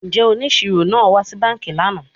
Njẹ oniṣiro naa wa si banki lana?